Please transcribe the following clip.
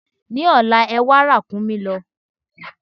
Lọ́la, ẹwà ràkúnmí lọ!